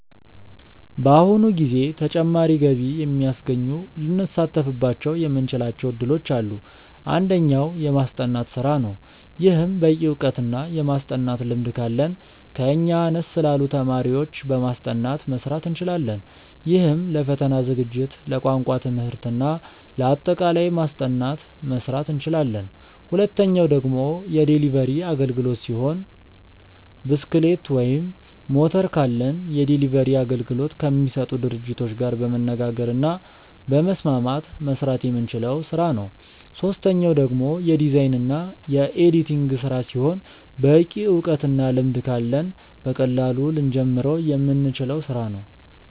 በአሁኑ ጊዜ ተጨማሪ ገቢ የሚያስገኙ ልንሳተፍባቸው የምንችላቸው እድሎች አሉ። አንደኛው። የማስጠናት ስራ ነው። ይህም በቂ እውቀት እና የማስጠናት ልምድ ካለን ከኛ አነስ ላሉ ተማሪዎች በማስጠናት መስራት እንችላለን። ይህም ለፈተና ዝግጅት፣ ለቋንቋ ትምህርት እና ለአጠቃላይ ማስጠናት መስራት እንችላለን። ሁለተኛው ደግሞ የዴሊቨሪ አግልግሎት ሲሆን ብስክሌት ወይም ሞተር ካለን የዴሊቨሪ አገልግሎት ከሚሰጡ ድርጅቶች ጋር በመነጋገር እና በመስማማት መስራት የምንችለው ስራ ነው። ሶስተኛው ደግሞ የዲዛይን እና የኤዲቲንግ ስራ ሲሆን በቂ እውቀት እና ልምድ ካለን በቀላሉ ልንጀምረው የምንችለው ስራ ነው።